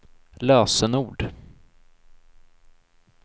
lösenord